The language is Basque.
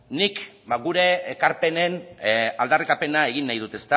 nik gure ekarpenen aldarrikapena egin nahi dut